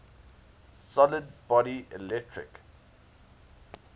solid body electric